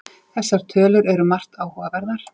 Þessar tölur eru margt áhugaverðar